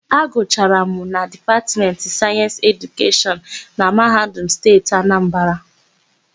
Agụchara m na Dipatmentị Sayensị Edukeshọn na Mahadum Steeti Anambara.